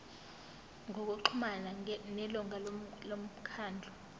ngokuxhumana nelungu lomkhandlu